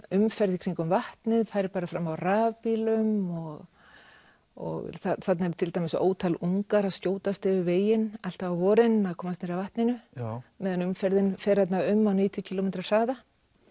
umferð í kringum vatnið færi bara fram á rafbílum og og þarna eru til dæmis ótal ungar að skjótast yfir veginn alltaf á vorin að komast niður að vatninu á meðan umferðin fer þarna um á níutíu kílómetra hraða